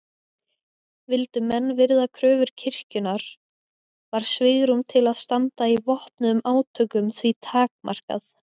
Vildu menn virða kröfur kirkjunnar var svigrúm til að standa í vopnuðum átökum því takmarkað.